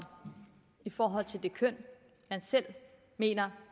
i forhold til det køn man selv mener